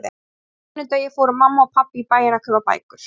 Á hverjum sunnudegi fóru mamma og pabbi í bæinn að kaupa bækur.